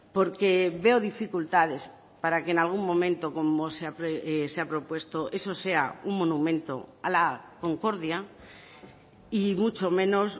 porque veo dificultades para que en algún momento como se ha propuesto eso sea un monumento a la concordia y mucho menos